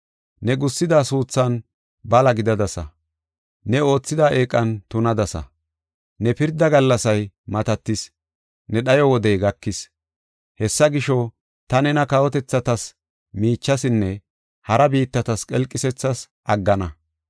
Ne gussida suuthan bala gidadasa; ne oothida eeqan tunadasa. Ne pirdaa gallasay matatis; ne dhayo wodey gakis. Hessa gisho, ta nena kawotethatas miichasinne hara biittatas qelqisees aggana.